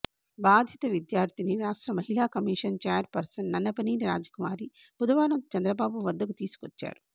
బాధిత విద్యార్థినిని రాష్ట్ర మహిళా commission chairperson Nannapaneni Rajakumari బుధవారం చంద్రబాబు వద్దకు తీసుకొచ్చారు